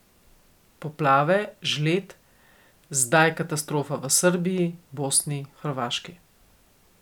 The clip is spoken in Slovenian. Poplave, žled, zdaj katastrofa v Srbiji, Bosni, Hrvaški.